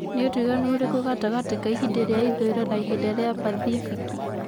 ni utiganu ũrĩkũ gatagati ka ĩhĩnda rĩa ĩthũĩro na ĩhĩnda rĩa pathifiki